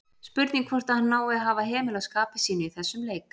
Spurning hvort að hann nái að hafa hemil á skapi sínu í þessum leik?